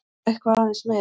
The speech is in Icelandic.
Og eitthvað aðeins meira!